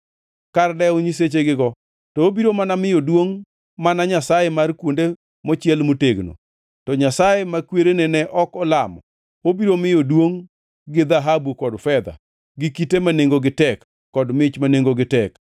Kar dewo nyisechegigo, to obiro mana miyo duongʼ mana nyasaye mar kuonde mochiel motegno, to nyasaye ma kwerene ne ok olamo obiro miyo duongʼ gi dhahabu kod fedha, gi kite ma nengogi tek kod mich ma nengogi tek.